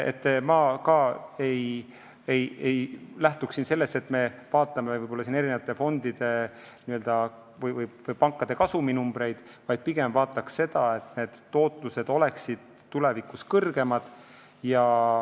Ma ka ei lähtuks sellest, et vaadata fondide või pankade kasuminumbreid, pigem vaataks seda, et tootlus oleks tulevikus kõrgem.